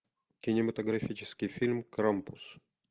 кинематографический фильм крампус